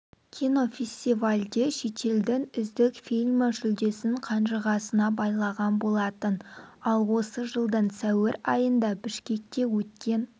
кинофестивальде шетелдің үздік фильмі жүлдесін қанжығасына байлаған болатын ал осы жылдың сәуір айында бішкекте өткен